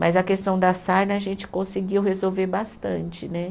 Mas a questão da sarna a gente conseguiu resolver bastante, né?